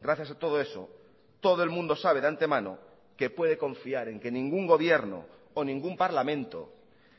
gracias a todo eso todo el mundo sabe de antemano que puede confiar en que ningún gobierno o ningún parlamento